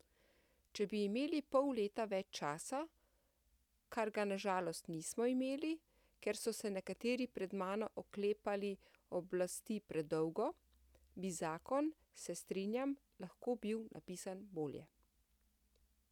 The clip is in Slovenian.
Če bi imeli pol leta več časa, kar ga na žalost nismo imeli, ker so se nekateri pred mano oklepali oblasti predolgo, bi zakon, se strinjam, lahko bil napisan bolje.